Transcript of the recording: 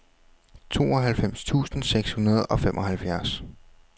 tooghalvfems tusind seks hundrede og femoghalvfjerds